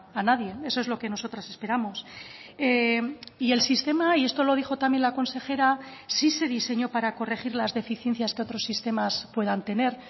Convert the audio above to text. a nadie eso es lo que nosotras esperamos y el sistema y esto lo dijo también la consejera sí se diseñó para corregir las deficiencias que otros sistemas puedan tener